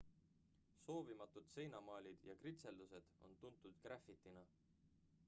soovimatud seinamaalid ja kritseldused on tuntud grafitina